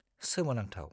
सोमोनांथाव।